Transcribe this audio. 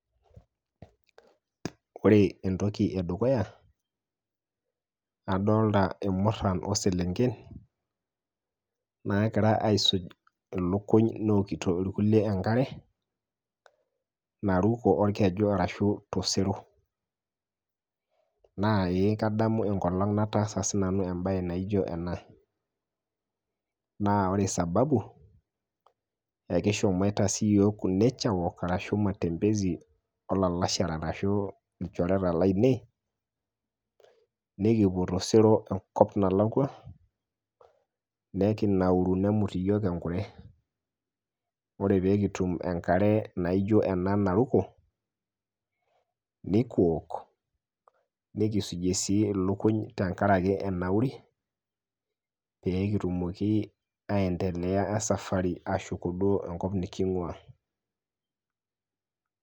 ore entoki edukuya adolta ilmurran oselenken nakira aisuj ilukuny newokito irkulie enkare naruko orkeju arashu tosero naa ee kadamu enkolong nataasa sinanu embaye naijo ena naa ore sababu ekishomoita siiyiok ku nature walk arashu matembezi olalashera arashu ilchoreta lainei nekipuo tosero enkop nalakua nekinauru nemut iyiok enkure ore peekitum enkare naijo ena naruko nikiwok nikisujie sii ilukuny tenkarake enauri peekitumoki aendelea esafari ashuko duo enkop niking'ua.